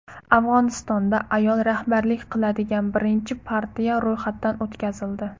Afg‘onistonda ayol rahbarlik qiladigan birinchi partiya ro‘yxatdan o‘tkazildi.